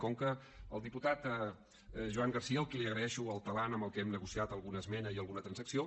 com que el diputat joan garcía al qui li agraeixo el talant amb el que hem negociat alguna esmena i alguna transacció